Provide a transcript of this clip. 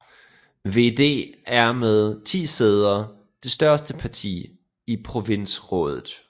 VVD er med 10 sæder det største parti i provinsrådet